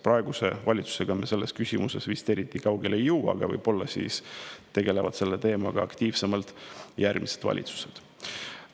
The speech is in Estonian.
Praeguse valitsusega me selles küsimuses vist eriti kaugele ei jõua, aga võib-olla tegelevad selle teemaga aktiivsemalt järgmised valitsused.